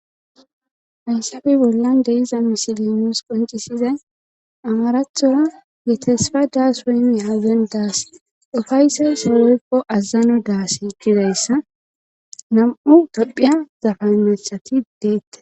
hayssafe bollan de'iza misile nusi qoncisizay amarathora getesfa daas weymyaaden daas ufayssa sohoykko azazano daasi gidayssa nam7u tophiya zafanachati deettes